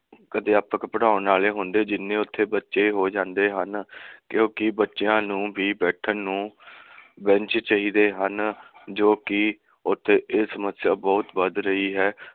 ਮੁਖ ਅਧਿਆਪਕ ਪੜਾਉਣ ਵਾਲੇ ਹੁੰਦੇ ਜਿੰਨੇ ਉਥੇ ਬੱਚੇ ਹੋ ਜਾਂਦੇ ਹਨ। ਕਿਉਕਿ ਬੱਚਿਆਂ ਨੂੰ ਵੀ ਬੈਠਣ ਨੂੰ ਬੇਂਚ ਚਾਹੀਦੇ ਹਨ ਜੋ ਕਿ ਉਥੇ ਇਹ ਸਮੱਸਿਆ ਬਹੁਤ ਵੱਧ ਰਹੀ ਹੈ।